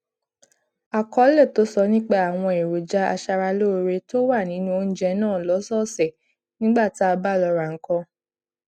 àkọlé tó sọ nípa àwọn èròjà aṣaralóore tó wà nínú oúnjẹ náà lósòòsè nígbà tá a bá lọ ra nǹkan